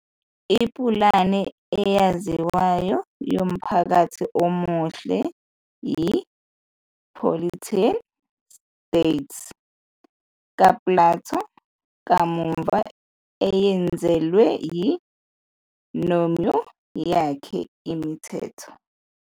Ipulani eyaziwayo yomphakathi omuhle yiPoliteia, State, kaPlato, kamuva eyenezelwa yiNomoi yakhe, Imithetho.